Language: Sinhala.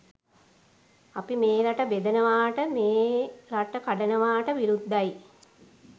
අපි මේ රට බෙදනවාට මේ රට කඩනවාට විරුද්ධයි.